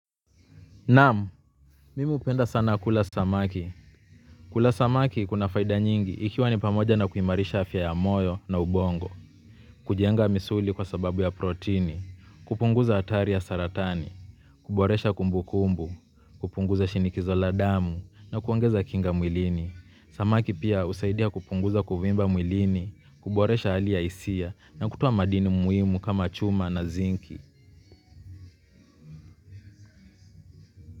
Naam, mimi hupenda sana kula samaki. Kula samaki kuna faida nyingi ikiwa ni pamoja na kuimarisha afya ya moyo na ubongo. Kujenga misuli kwa sababu ya protini, kupunguza hatari ya saratani, kuboresha kumbukumbu, kupunguza shinikizo la damu na kuongeza kinga mwilini. Samaki pia husaidia kupunguza kuvimba mwilini, kuboresha hali ya hisia na kutoa madini muhimu kama chuma na zinki.